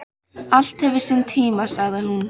Allt hefur sinn tíma, sagði hún.